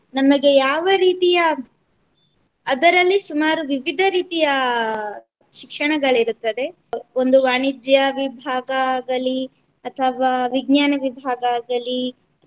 ನಮಗೆ ಯಾವ ರೀತಿಯ ಅದರಲ್ಲಿ ಸುಮಾರು ವಿವಿಧ ರೀತಿಯ ಶಿಕ್ಷಣಗಳು ಇರುತ್ತದೆ. ಒಂದು ವಾಣಿಜ್ಯ ವಿಭಾಗ ಆಗಲಿ ಅಥವಾ ವಿಜ್ನಾನ ವಿಭಾಗ ಆಗಲಿ